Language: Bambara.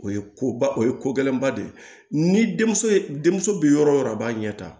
O ye koba o ye ko gɛlɛnba de ye ni denmuso ye denmuso bi yɔrɔ o yɔrɔ a b'a ɲɛ ta